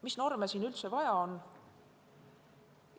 Mis norme siin üldse vaja on?